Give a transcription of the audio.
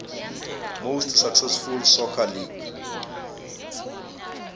most successful soccer league